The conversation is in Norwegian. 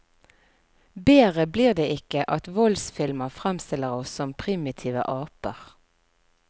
Bedre blir det ikke at voldsfilmer fremstiller oss som primitive aper.